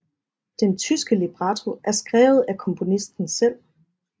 Den tyske libretto er skrevet af komponisten selv